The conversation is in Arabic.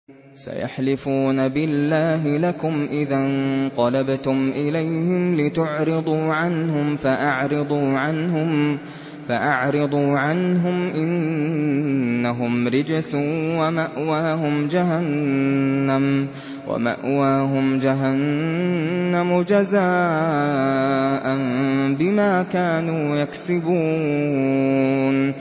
سَيَحْلِفُونَ بِاللَّهِ لَكُمْ إِذَا انقَلَبْتُمْ إِلَيْهِمْ لِتُعْرِضُوا عَنْهُمْ ۖ فَأَعْرِضُوا عَنْهُمْ ۖ إِنَّهُمْ رِجْسٌ ۖ وَمَأْوَاهُمْ جَهَنَّمُ جَزَاءً بِمَا كَانُوا يَكْسِبُونَ